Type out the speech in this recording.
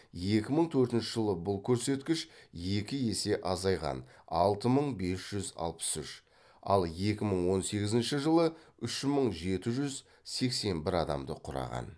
екі мың төртінші жылы бұл көрсеткіш екі есе азайған алты мың бес жүз алпыс үш ал екі мың он сегізінші жылы үш мың жеті жүз сексен бір адамды құраған